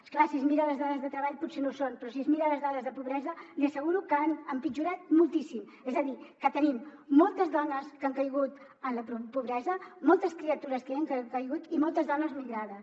és clar si es mira les dades de treball potser no ho són però si es mira les dades de pobresa li asseguro que han empitjorat moltíssim és a dir que tenim moltes dones que han caigut en la pobresa moltes criatures que hi han caigut i moltes dones migrades